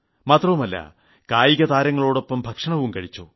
മാത്രമല്ല കായിക താരങ്ങളോടൊപ്പം ഭക്ഷണവും കഴിച്ചു